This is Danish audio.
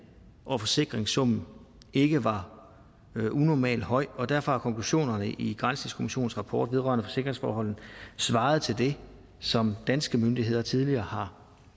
hvor forsikringssummen ikke var unormalt høj og derfor har konklusionerne i granskningskommissionens rapport vedrørende forsikringsforholdene svaret til det som danske myndigheder tidligere har